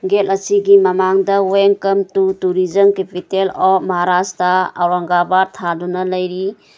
get ꯑꯁꯤꯒꯤ ꯃꯃꯥꯡꯗ welcome to tourism capital of Maharashtra Aurangabad ꯊꯥꯗꯨꯅ ꯂꯩꯔꯤ